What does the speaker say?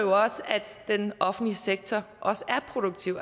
den offentlige sektor også er produktiv